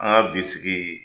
An ka bi sigii